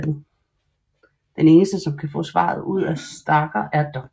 Den eneste som kan få svaret ud af Stargher er Dr